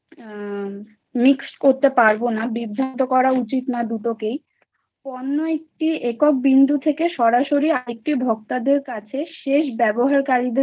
mix করতে পারব না, বিভ্রান্ত করা উচিত না। দুটোকেই অন্য একটি একক বিন্দু থেকে সরাসরি আরেকটি ভোক্তাদের কাছে শেষ ব্যবহারকারীদের